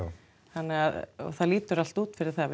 þannig að það lítur allt út fyrir það